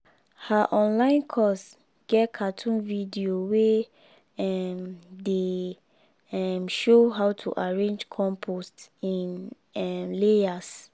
her online course get cartoon video wey um dey um show how to arrange compost in um layers.